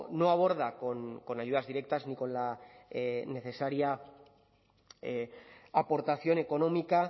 no aborda con ayudas directas ni con la necesaria aportación económica